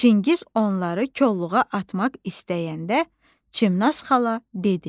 Çingiz onları kolluğa atmaq istəyəndə Çimnaz xala dedi: